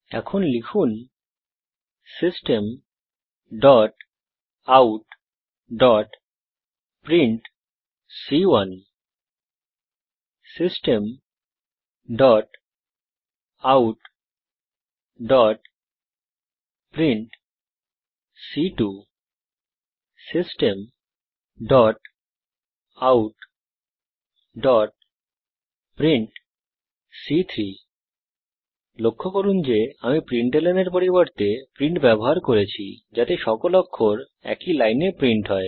এখন লিখুন system out print system out print system out print লক্ষ্য করুন যে আমি প্রিন্টলন এর পরিবর্তে প্রিন্ট ব্যবহার করছি যাতে সকল অক্ষর একই লাইনে প্রিন্ট হয়